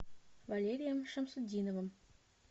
валерием шамсутдиновым